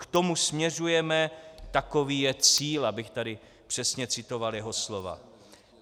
K tomu směřujeme, takový je cíl, abych tady přesně citoval jeho slova.